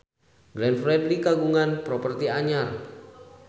Glenn Fredly kagungan properti anyar